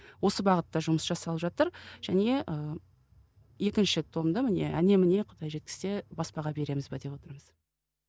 осы бағытта жұмыс жасалып жатыр және ы екінші томда міне әне міне құдай жеткізсе баспаға береміз бе деп отырмыз